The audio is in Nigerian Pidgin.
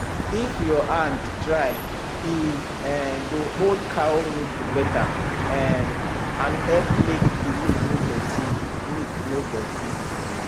if your hand dry e um go hold cow nipple better um and help make the milk no dirty milk no dirty